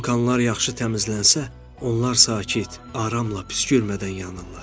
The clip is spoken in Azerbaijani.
Vulkanlar yaxşı təmizlənsə, onlar sakit, aramla püskürmədən yanırlar.